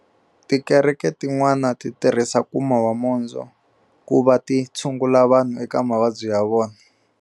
Tikereke tin'wana ti tirhisa nkuma wa mondzo ku vati tshungula vanhu eka mavabyi ya vona.